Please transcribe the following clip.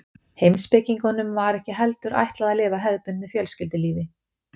heimspekingunum var ekki heldur ætlað að lifa hefðbundnu fjölskyldulífi